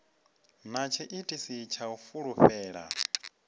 na tshiitisi tsha u fulufhela